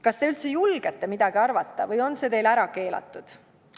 Kas te üldse julgete midagi arvata või on see teil ära keelatud?